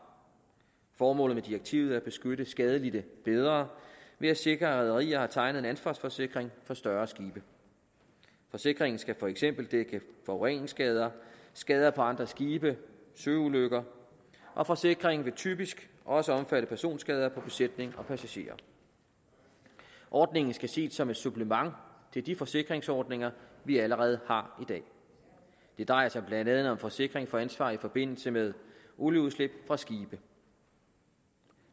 formålet med direktivet er at beskytte skadelidte bedre ved at sikre at rederier har tegnet en ansvarsforsikring for større skibe forsikringen skal for eksempel dække forureningsskader skader på andre skibe søulykker og forsikringen vil typisk også omfatte personskader på besætning og passagerer ordningen skal ses som et supplement til de forsikringsordninger vi allerede har i dag det drejer sig blandt andet om forsikring for ansvar i forbindelse med olieudslip fra skibe